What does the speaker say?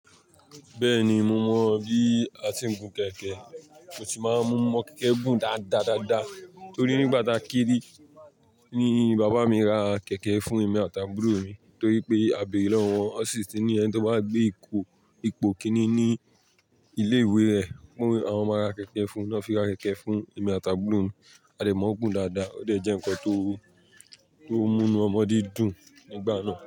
Bẹ́ẹ̀ni, mo mọ bí a ti ń gun kẹ̀kẹ́. Mo sì máa ń mú ọmọ kẹ̀kẹ́ gùn dáadáa dáadáa torí nígbà tákírí ni bàbá mi ra kẹ̀kẹ́ fún èmi àti àbúrò mi torí pé a bẹ̀rẹ̀ lọ́wọ́ wọn ó sì ti ní ẹni tí ó máa gbé ipò, ipò kiní ní ilé ìwé rẹ̀. Ó wí, "Àwọn máa ra kẹ̀kẹ́ fún wọn." Wọ́n sì ra kẹ̀kẹ́ fún èmi àti àbúrò mi. A dẹ̀ mọ̀ gùn dáadáa. Ó dẹ̀ jẹ́ nǹkan tó, tó mú inú ọmọdé dùn nígbà náà.